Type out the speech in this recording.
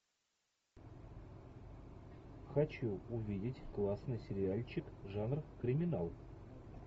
хочу увидеть классный сериальчик жанр криминал